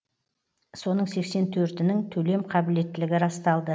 соның сексен төртінің төлем қабілеттілігі расталды